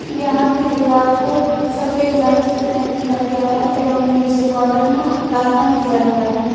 यहां की दीवार को सफेद रंग से पेंट किया गया है एवं नीचे बॉर्डर में लाल रंग दिया गया है।